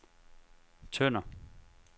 Tønder